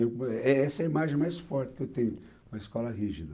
É, essa é a imagem mais forte que eu tenho, uma escola rígida.